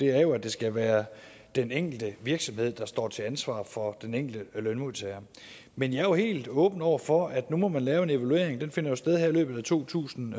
er jo at det skal være den enkelte virksomhed der står til ansvar for den enkelte lønmodtager men jeg er helt åben over for at man nu må lave en evaluering den finder jo sted her i løbet af to tusind